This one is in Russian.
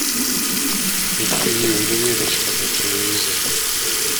ищи ювелирочка на телевизоре